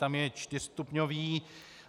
Tam je čtyřstupňový.